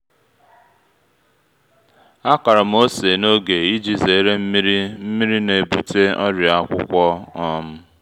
a kọrọ m ose n’oge iji zere nmiri nmiri na-ebute ọrịa akwụkwọ um